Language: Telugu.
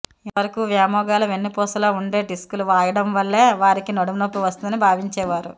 ఇంతవరకూ వ్యోమగాల వెన్నుపూసలో ఉండే డిస్కులు వాయడం వల్లే వారికి నడుంనొప్పి వస్తుందని భావించేవారు